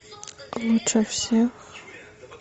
лучше всех